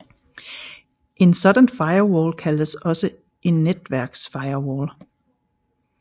En sådan firewall kaldes en netværksfirewall